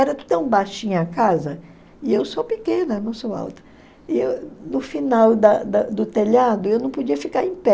Era tão baixinha a casa, e eu sou pequena, não sou alta, e no final da da do telhado eu não podia ficar em pé.